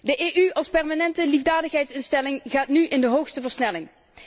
De EU als permanente liefdadigheidsinstelling gaat nu in de hoogste versnelling.